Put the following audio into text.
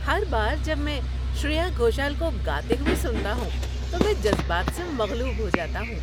‏ہر بار جب میں شریا گھوشل کو گاتے ہوئے سنتا ہوں تو میں جذبات سے مغلوب ہو جاتا ہوں۔